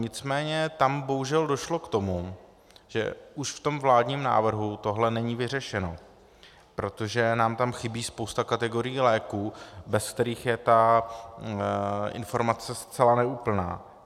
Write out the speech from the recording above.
Nicméně tam bohužel došlo k tomu, že už v tom vládním návrhu tohle není vyřešeno, protože nám tam chybí spousta kategorií léků, bez kterých je ta informace zcela neúplná.